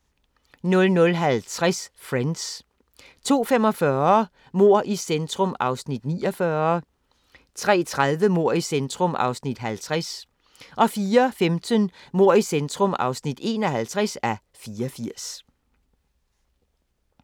00:50: Friends 02:45: Mord i centrum (49:84) 03:30: Mord i centrum (50:84) 04:15: Mord i centrum (51:84)